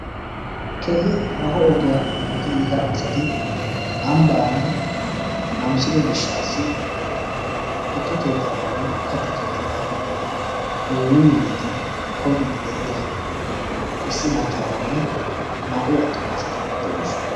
Keehi haaho ogiya hemetti yiida asati ambbaani namisido gishshaassi tukke keettatanne katta keettata yuuyyi yuuyyidi koyyiiddi de"iya issi maccaaranne naa"u attumaageeti de"oosona.